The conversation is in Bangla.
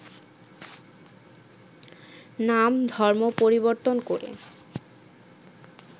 নাম, ধর্ম পরিবর্তন করে